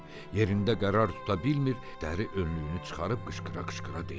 Yerində qərar tuta bilmir, dəri önlüyünü çıxarıb qışqıra-qışqıra deyirdi.